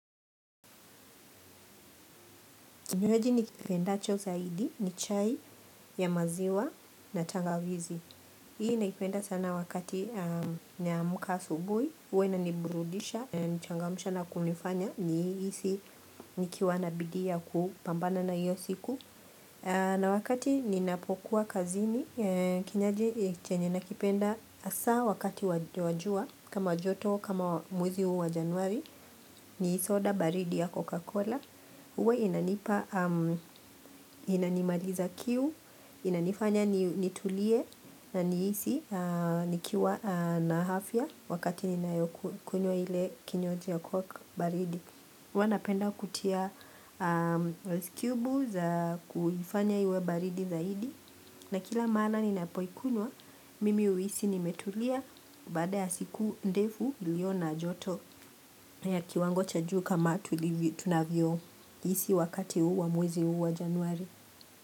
Kinywaji nikipendacho zaidi ni chai ya maziwa na tangawizi. Hii naipenda sana wakati naamka asubuhi. Huwa inanibrudisha, inanichangamsha na kunifanya nihisi nikiwa na bidii ya kupambana na hiyo siku. Na wakati ninapokuwa kazini. Kinywaji chenye nakipenda hasa wakati wa jua. Kama joto, kama mwezi huu wa januari. Ni soda baridi ya Coca-Cola. Huwe inanipa hamu, inanimaliza kiu, inanifanya nitulie na nihisi nikiwa na afya wakati ninayo kunywa ile kinywaji ya Coca baridi. Huwa napenda kutia ice cube za kufanya iwe baridi zaidi. Na kila mara ni napoikunywa, mimi huisi nimetulia baada ya siku ndefu iliyo na joto ya kiwango cha juu kama tunavyo hisi wakati huu wa mwezi huu wa januari.